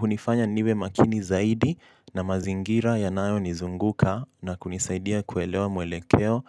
hunifanya niwe makini zaidi na mazingira yanayo nizunguka na kunisaidia kuelewa mwelekeo.